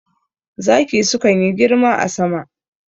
Zaki sukan yi girma a sama